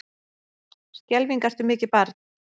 Skelfing ertu mikið barn.